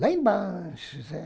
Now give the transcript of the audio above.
Lá embaixo, Zé.